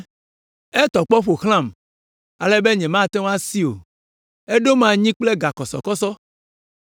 Etɔ kpɔ ƒo xlãm ale be nyemate ŋu asi o, eɖom anyi kple gakɔsɔkɔsɔ.